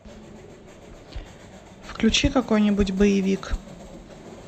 включи какой нибудь боевик